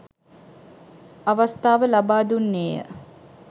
අවස්ථාව ලබා දුන්නේ ය.